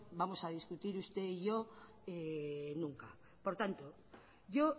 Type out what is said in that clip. vamos a discutir usted y yo nunca por tanto yo